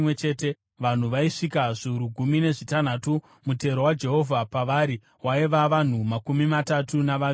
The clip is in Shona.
vanhu vaisvika zviuru gumi nezvitanhatu, mutero waJehovha pavari waiva vanhu makumi matatu navaviri.